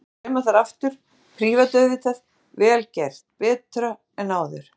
Ég lét sauma þær í aftur, prívat auðvitað, vel gert, betra en áður.